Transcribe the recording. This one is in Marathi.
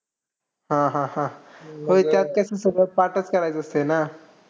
हां हां हां. होय त्यात कसं सगळं पाठच करायचं असतं ना.